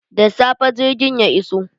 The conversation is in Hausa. Da safe jirgin ya iso.